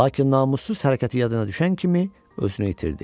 Lakin namussuz hərəkəti yadına düşən kimi özünü itirdi.